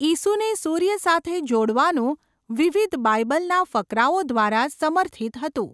ઈસુને સૂર્ય સાથે જોડવાનું વિવિધ બાઈબલના ફકરાઓ દ્વારા સમર્થિત હતું.